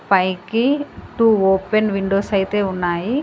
పైకి two open windows అయితే ఉన్నాయి.